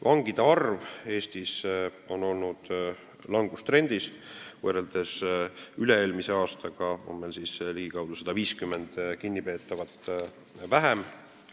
Vangide arv Eestis on olnud langustrendis, võrreldes üle-eelmise aastaga on meil ligikaudu 150 kinnipeetavat vähem.